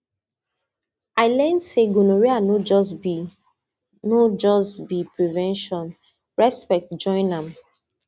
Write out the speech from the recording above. i learn say gonorrhea no just be no just be prevention respect join am